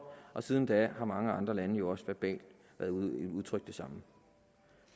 og siden da har mange andre lande jo også verbalt udtrykt det samme